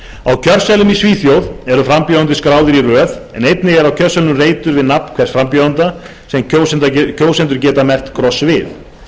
á kjörseðlum í svíþjóð eru frambjóðendur skráðir í röð en einnig er á kjörseðlinum reitur við nafn hvers frambjóðanda sem kjósendur geta merkt kross við